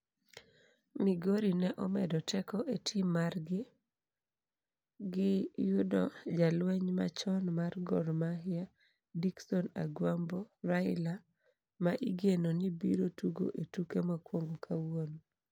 Migori ne omedo teko e tim margi gi yudo jalweny machon mar Gor Mahia Dickson "Agwambo" Raila ma igeno ni biro tugo e tuke mokwongo kawuono.